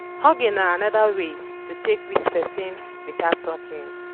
hugging na anoda way to take greet person without talking